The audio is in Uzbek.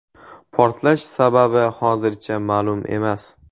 Portlash sababi hozircha ma’lum emas.